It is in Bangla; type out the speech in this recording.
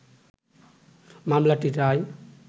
মামলাটির রায়